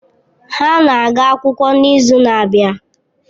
Ha na-aga akwụkwọ n'izu na-abịa.